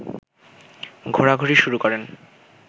ঘোরাঘুরি শুরু করেন